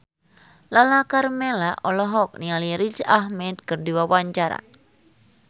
Lala Karmela olohok ningali Riz Ahmed keur diwawancara